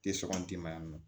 Tɛ sɔn n dɛmɛ yan nɔ